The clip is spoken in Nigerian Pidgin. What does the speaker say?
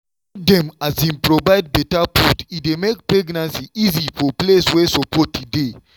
wen dem um provide better food e dey make pregnancy easy for place wey support dey.